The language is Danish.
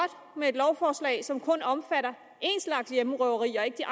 med et lovforslag som kun omfatter én slags hjemmerøverier og ikke den